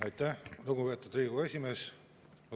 Aitäh, lugupeetud Riigikogu esimees!